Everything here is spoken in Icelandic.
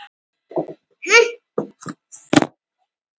Svo getur hann lesið.